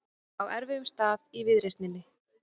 Á erfiðum stað í viðreisninni